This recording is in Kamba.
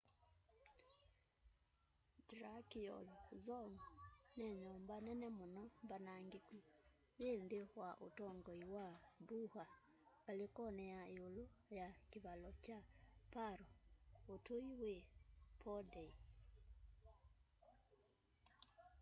drukgyal dzong ni nyumba nene muno mbanangiku yi nthi wa utongoi wa buddha ngalikoni ya iulu ya kivalo kya paro utui wi phondey